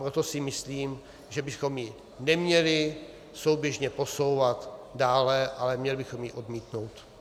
Proto si myslím, že bychom ji neměli souběžně posouvat dále, ale měli bychom ji odmítnout.